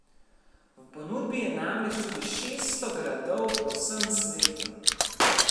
V ponudbi je namreč tudi šeststo gradov po vsem svetu.